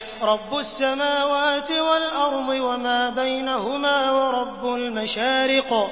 رَّبُّ السَّمَاوَاتِ وَالْأَرْضِ وَمَا بَيْنَهُمَا وَرَبُّ الْمَشَارِقِ